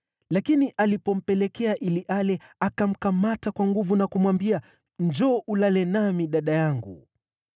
Lakini alipompelekea ili ale, akamkamata kwa nguvu na kumwambia, “Njoo ulale nami, dada yangu.”